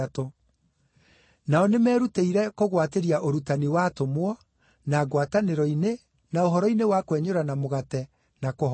Nao nĩmerutĩire kũgwatĩria ũrutani wa atũmwo, na ngwatanĩro-inĩ, na ũhoro-inĩ wa kwenyũrana mũgate, na kũhooya.